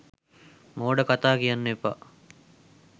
මෝඩ කතා කියන්න එපා.